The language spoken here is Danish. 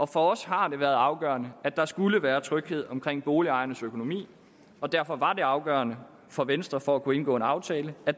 for os har det været afgørende at der skulle være tryghed omkring boligejernes økonomi derfor var det afgørende for venstre for at kunne indgå en aftale at